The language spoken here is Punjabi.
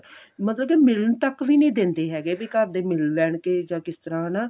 ਮਤਲਬ ਕਿ ਮਿਲਣ ਤੱਕ ਵੀ ਨਹੀਂ ਦਿੰਦੇ ਹੈਗੇ ਵੀ ਘਰ ਦੇ ਮਿਲ ਲੈਣਗੇ ਜਾਂ ਕਿਸ ਤਰ੍ਹਾਂ ਹਨਾ